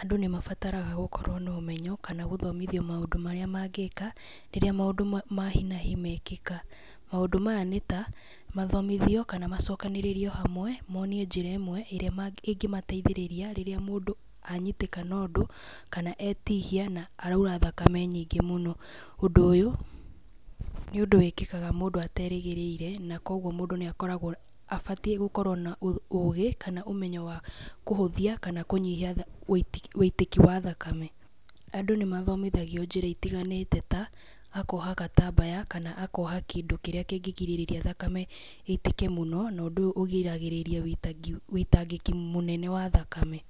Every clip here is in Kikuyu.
Andũ nĩ mabataraga gũkorwo na ũmenyo, kana gũthomithio maũndũ marĩa mangĩka rĩrĩa maũndũ ma hi na hi mekĩka. Mũndũ maya nĩ ta mathomithio kana macokanĩririo hamwe monio njĩra ĩmwe ĩrĩa ĩngĩmateithĩrĩria rĩrĩ mũndũ anyitĩkana ũndũ, kana etihia na araura thakame nyingĩ mũno. Ũndũ ũyũ nĩ ũndũ wĩkĩkaga mũndũ aterĩgĩrĩire, na koguo mũndũ nĩ abataiĩ gũkorwo na ũgĩ kana ũmenyo wa kũhũithia kana kũnyihiaũitĩki wa thakame. Andũ nĩ mathomithagio njĩra itiganĩte ta kuoha gatambaya kana kuoha kĩndũ kĩrĩa kĩngĩgirĩrĩria thakame ĩitĩke mũno, na ũndũ ũyũ ũrigagĩtrĩria ũitangĩki mũnene wa thakame.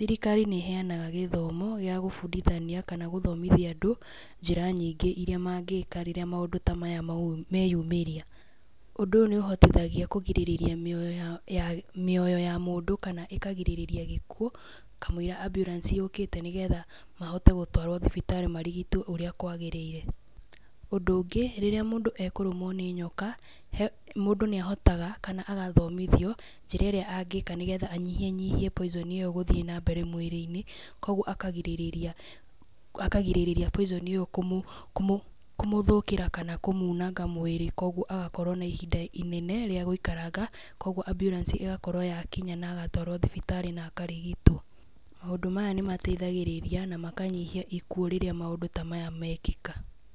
Thirikari nĩ ĩheanaga gĩtho mo gĩa gũbundithania kana gĩa gũthomithia andũ njĩra nyingĩ iria mangĩka rĩria maũndũ ta maya meyumĩria. Ũndũ ũyũ nĩ ũhotithagia kũrigĩrĩria mĩoyo ya mũndũ kana ĩkagirĩrĩria gĩkuũ kamũira ambulance yũkĩte nĩ getha mahoite gũtwarwo thibitarĩ marigitwo ũrĩa kwagĩrĩire. Ũndũ ũngĩ rĩrĩa mũndũ ekũrũmwo nĩ nyoka mũndũ nĩ ahotaga kana agathomithio njĩra ĩria angika nĩ getha anyihanyihie poison ĩyo gũthiĩ na mbere mwĩri-inĩ, koguo akagirĩrĩria poison ĩyo kũmũingĩra kana kũmunanga mwĩri koguo agakorwo na ihinda rĩ nene rĩa gũikaranga koguo ambulance ĩgakorwo yakinya na agatwarwo thibitarĩ na akarigitwo. Maũndũ maya nĩ mateithagĩrĩria na makanyihia ikuũ rĩrĩa maũndũ ta maya mekĩka.